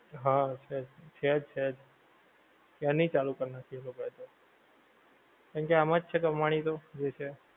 હા છેજ ને છેજ છેજ ક્યાર ની ચાલુ કર નાખી એ લોકા એ તો કેમકે આમાં છે કમાણી તો જે છે